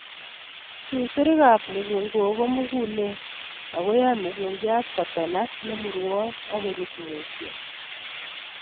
Susurikab mukunkok komugulen ako yoe mukunkiat kotonak nemurwon ak kurut mutyo.